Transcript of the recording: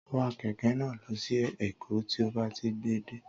Wa kẹ̀kẹ́ náà lọ sí èkó tí ó bá ti gbé e dé